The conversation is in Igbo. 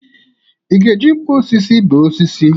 Ị ga-eji nkwọ osisi bee osisi?